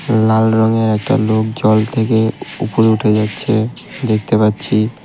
লাল রংয়ের একটা লোক জল থেকে উপরে উঠে যাচ্ছে দেখতে পাচ্ছি।